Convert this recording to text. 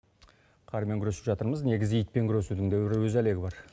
қармен күресіп жатырмыз негізі итпен күресудің де өз әлегі бар